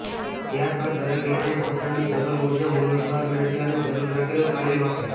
ત્યાર બાદ દરેક એરલાઈન્સ પોતાની જરૂર મુજબ ઉમેદવાર મેળવે અને જરૂર લાગે તો તાલીમ આપે